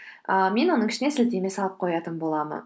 ыыы мен оның ішіне сілтеме салып қоятын боламын